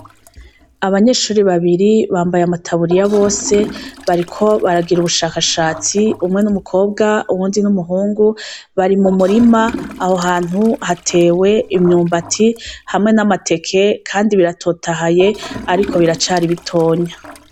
Abanyeshuri babiri bambaye amataburiya bose, bariko baragira ubushakashatsi, umwe n'umukobwa uwundi n'umuhungu. Bari mu murima aho hantu hatewe imyumbati hamwe n'amateke, kandi biratotahaye ariko biracari bitonya.